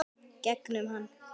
Gegnum hann.